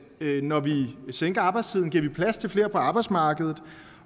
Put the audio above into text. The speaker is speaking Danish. vi når vi sænker arbejdstiden giver plads til flere på arbejdsmarkedet